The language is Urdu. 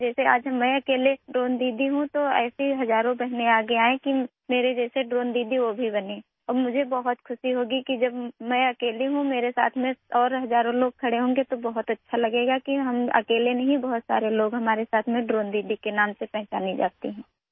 جس طرح آج میں اکیلے ڈرون دیدی ہوں، اگر ایسی ہزاروں بہنیں میری طرح ڈرون دیدی بننے کے لیے آگے آئیں اور مجھے بہت خوشی ہوگی کہ جب میں اکیلی ہوں ، میرے ساتھ ہزاروں دوسرے لوگ کھڑے ہوں گےتو بہت اچھا لگے گا کہ ہم اکیلے نہیں ہیں، بہت سے لوگ ہمارے ساتھ ہیں اور ڈرون دیدی کے نام سے جانے جاتے ہیں